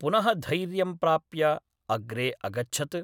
पुनःधैर्यं प्राप्य अग्रे अगच्छत्।